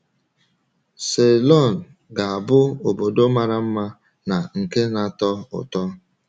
Ceylon ga-abụ obodo mara mma na nke na-atọ ụtọ!